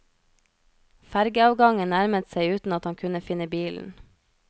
Fergeavgangen nærmet seg uten at han kunne finne bilen.